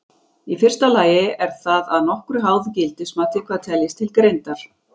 Í fyrsta lagi er það að nokkru háð gildismati hvað teljist til greindar.